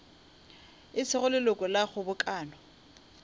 e sego leloko la kgobokano